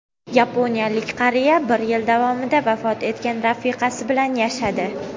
Yaponiyalik qariya bir yil davomida vafot etgan rafiqasi bilan yashadi.